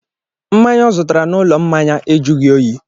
Mmanya ọ zụtara n'ụlọ mmanya a jụghi oyi.